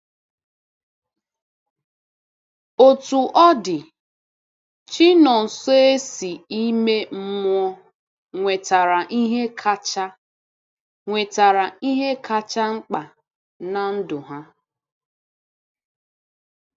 Otú ọ dị, Chinọnsoersi ime mmụọ nwetara ihe kacha nwetara ihe kacha mkpa na ndụ ha.